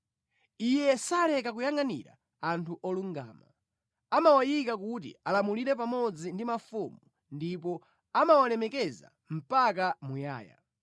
Iye saleka kuyangʼanira anthu olungama; amawayika kuti alamulire pamodzi ndi mafumu ndipo amawalemekeza mpaka muyaya.